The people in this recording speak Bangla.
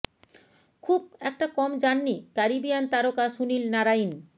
খুব একটা কম যাননি ক্যারিবিয়ান তারকা সুনীল নারাইন